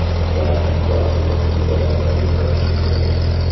Ularni kvartira egalari olib borishi kerak.